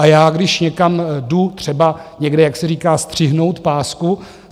A já když někam jdu, třeba někde, jak se říká, střihnout pásku...